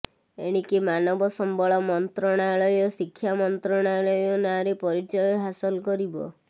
ଏଣିକି ମାନବ ସମ୍ବଳ ମନ୍ତ୍ରଣାଳୟ ଶିକ୍ଷା ମନ୍ତ୍ରଣାଳୟ ନାଁରେ ପରିଚୟ ହାସଲ କରିବ